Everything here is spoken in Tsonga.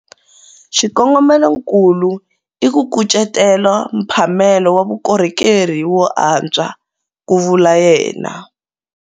Xikongomelonkulu i ku kucetela mphamelo wa vukorhokeri wo antswa, ku vula yena.